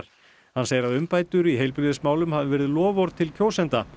hann segir að umbætur í heilbrigðismálum hafi verið loforð til kjósenda